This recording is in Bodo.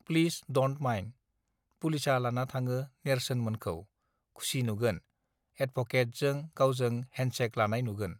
प्लिस डन्ड माइन्ड पुलिसआ लाना थाङो नेर्सोन मोनखौ खुसि नुगोन एडभकेत जों गावजों हेन्ड चेक लानाय नुगोन